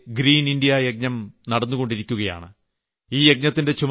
കേന്ദ്രസർക്കാരിന്റെ ഹരിത ഭാരത യജ്ഞം നടന്നുകൊണ്ടിരിക്കുന്നു